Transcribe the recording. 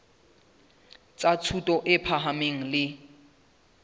tsa thuto e phahameng le